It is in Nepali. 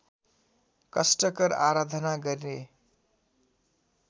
कष्टकर आराधना गरे